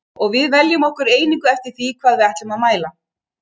Og við veljum okkur einingu eftir því hvað við ætlum að mæla.